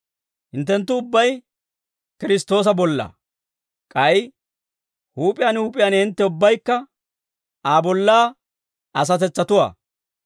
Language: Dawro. Hinttenttu ubbay Kiristtoosa bollaa; k'ay huup'iyaan huup'iyaan hintte ubbaykka Aa bollaa asatetsatuwaa.